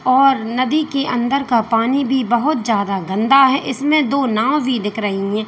और नदी के अंदर का पानी भी बहुत ज्यादा गंदा है इसमें दो नाव भी दिख रही है।